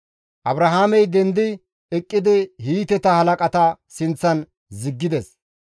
Abrahaamey dendi eqqidi Hiiteta halaqata sinththan ziggides.